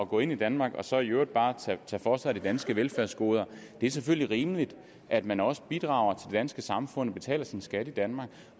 gå ind i danmark og så i øvrigt bare tage for sig af de danske velfærdsgoder det er selvfølgelig rimeligt at man også bidrager til danske samfund og betaler sin skat i danmark